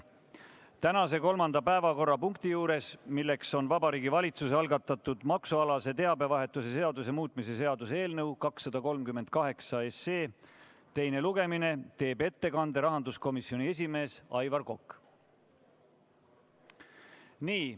Tänase kolmanda päevakorrapunkti juures, milleks on Vabariigi Valitsuse algatatud maksualase teabevahetuse seaduse muutmise seaduse eelnõu 238 teine lugemine, teeb ettekande rahanduskomisjoni esimees Aivar Kokk.